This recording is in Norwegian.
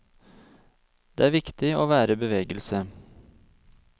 Det er viktig å være i bevegelse.